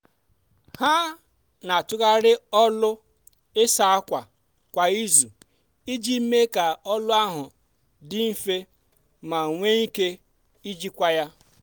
ha n'atụgharị ọlụ ịsa ákwà kwa izu iji mee ka ọlụ ahụ dị nfe ma nwe ike ijikwa ya.